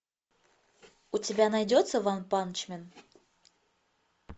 у тебя найдется ванпанчмен